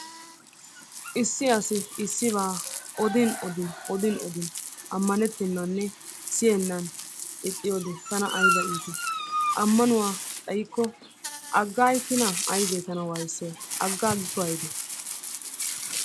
Issi asi issibaa odin odin odin odin amanettenanne siyennan ixxiyode tana ayba iitti ammanuwa xaykko agaagikkinaa aybee tana wayssiyay agaagikko aybee